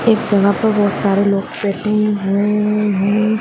एक जगह पे बहुत सारे लोग बैठे हुए है।